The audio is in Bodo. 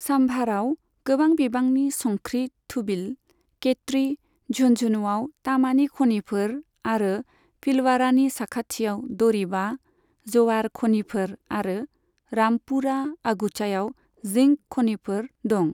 साम्भरआव गोबां बिबांनि संख्रि थुबिल, केट्रि, झुन्झुनुआव तामानि खनिफोर आरो भिलवाड़ानि साखाथियाव दरिबा, जवार खनिफोर आरो रामपुरा अगुचायाव जिंक खनिफोर दं।